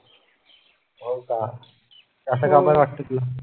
हो का असं का बर वाटतं तुला?